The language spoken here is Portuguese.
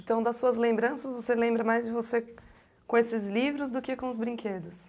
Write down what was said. Então, das suas lembranças, você lembra mais de você com esses livros do que com os brinquedos?